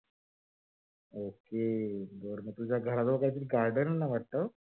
ok तुझ्या घराजवळ काहीतरी garden आहे वाटत?